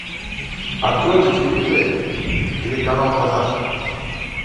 открой на телевизоре телеканал казах